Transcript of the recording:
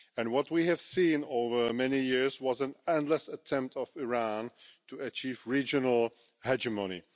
What we have seen over many years has been an endless attempt by Iran to achieve regional hegemony.